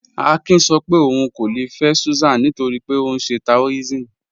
Àkín sọ́ pé óun kò lè fẹ́ Súsán nítorí pé ọ nṣẹ́ Taòism..